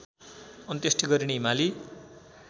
अन्त्येष्टि गरिने हिमाली